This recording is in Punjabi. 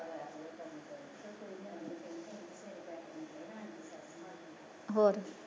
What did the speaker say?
ਹੋਰ